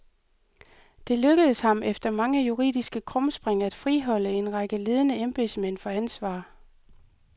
Det lykkedes ham efter mange juridiske krumspring at friholde en række ledende embedsmænd for ansvar.